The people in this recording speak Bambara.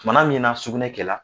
Tumana min na sugunɛ kɛla